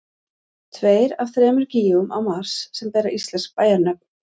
Tveir af þremur gígum á Mars sem bera íslensk bæjarnöfn.